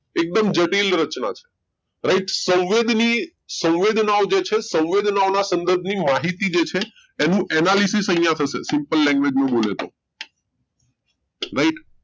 એકદમ જટીલ રચના છે right સંવેદની સંવેદનાઓ જે છે સંવેદનાઓના સંગત ની માહિતી જે છે એનું analysis અહીંયા થશે simple language મું બોલ્યો તો right